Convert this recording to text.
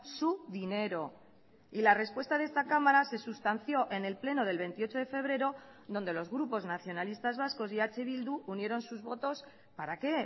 su dinero y la respuesta de esta cámara se sustanció en el pleno del veintiocho de febrero donde los grupos nacionalistas vascos y eh bildu unieron sus votos para qué